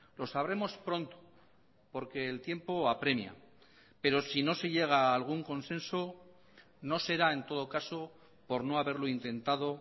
lo sabremos pronto porque el tiempo apremia pero si no se llega a algún consenso no será en todo caso por no haberlo intentado